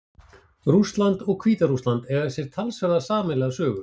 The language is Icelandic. Rússland og Hvíta-Rússland eiga sér talsverða sameiginlega sögu.